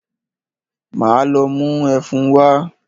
Máa lọ mú ẹfun wá.